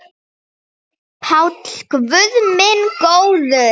PÁLL: Guð minn góður!